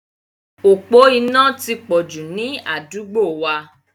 Òpó iná ti pọ̀ jù ni àdúgbò wa.